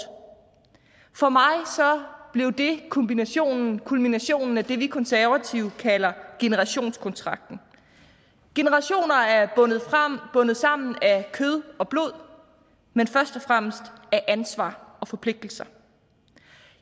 for mig blev det kulminationen kulminationen af det vi konservative kalder generationskontrakten generationer er bundet sammen af kød og blod men først og fremmest af ansvar og forpligtelser